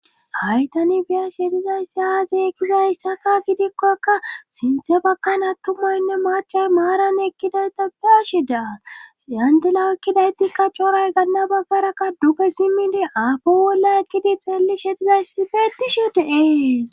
Haytani biya shedizayssi haazeekkizayssaka gidikkokka sinthe bakkan attumoynne machay maaran ekkidayta bia shidaa yandila ekkidaytikka coray ganna baggara ka duke simidi aapi wolla ekkidi xeeli shedizayssi fe etisho deees.